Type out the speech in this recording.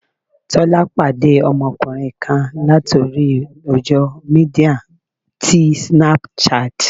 Tọ́lá pàdé ọmọkùnrin kan láti orí àwùjọ Mídíà ti Snapchat.